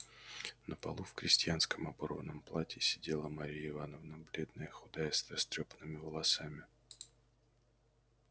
на полу в крестьянском оборванном платье сидела марья ивановна бледная худая с растрёпанными волосами